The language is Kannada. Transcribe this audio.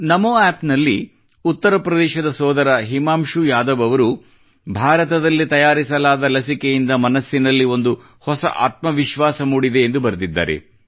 ನಮೋ App ನಲ್ಲಿ ಉತ್ತರ ಪ್ರದೇಶದ ಸೋದರ ಹಿಮಾಂಶು ಯಾದವ್ ಅವರು ಭಾರತದಲ್ಲಿ ತಯಾರಿಸಲಾದ ಲಸಿಕೆಯಿಂದ ಮನಸ್ಸಿನಲ್ಲಿ ಒಂದು ಹೊಸ ಆತ್ಮವಿಶ್ವಾಸ ಮೂಡಿದೆ ಎಂದು ಬರೆದಿದ್ದಾರೆ